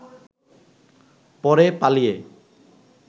পরে পালিয়ে